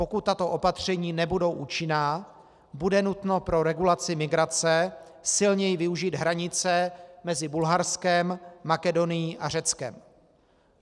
Pokud tato opatření nebudou účinná, bude nutno pro regulaci migrace silněji využít hranice mezi Bulharskem, Makedonií a Řeckem.